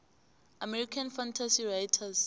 american fantasy writers